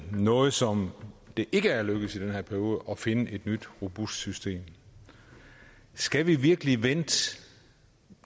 noget som det ikke er lykkedes i den her periode er at finde et nyt robust system skal vi virkelig vente